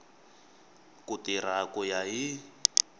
ku tirha ku ya hi